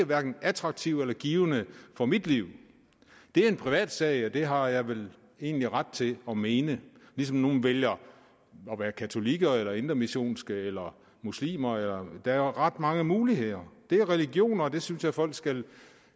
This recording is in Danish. hverken attraktiv eller givende for mit liv det er en privatsag og det har jeg vel egentlig ret til at mene ligesom nogle vælger at være katolikker eller indremissionske eller muslimer der er ret mange muligheder det er religioner og det synes jeg folk skal